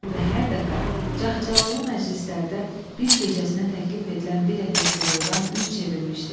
Və hər dəfə cahcalalı məclislərdə bir gecəsinə təklif edilən bir ətək qızıldan üz çevirmişdi.